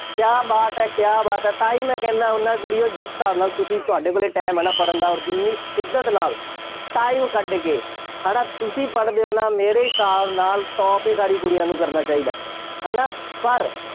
ਕਿਆ ਬਾਤ ਹੈ, ਕਿਆ ਬਾਤ ਹੈ, ਤਾਂ ਹੀ ਮੈਂ ਕਹਿੰਦਾ ਹੁੰਦਾ, ਕੁੜੀਓ ਜਿਸ ਹਿਸਾਬ ਨਾਲ ਤੁਸੀਂ, ਤੁਹਾਡੇ ਕੋਲੇਂ time ਹੈ ਨਾ ਪੜ੍ਹਨ ਦਾ ਅੋਰ ਜਿੰਨੀ ਸ਼ਿੱਦਤ ਨਾਲ time ਕੱਢ ਕੇ, ਹੈ ਨਾ ਤੁਸੀਂ ਪੜ੍ਹਦੇ ਹੋ ਨਾ, ਮੇਰੇ ਹਿਸਾਬ ਨਾਲ top ਹੀ ਸਾਰੀ ਕੁੜੀਆਂ ਨੂੰ ਕਰਨਾ ਚਾਹੀਦਾ। ਹੈ ਨਾ, ਪਰ